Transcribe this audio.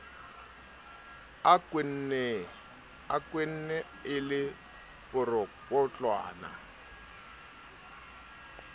a kwenne e le poropotlwana